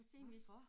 Hvorfor?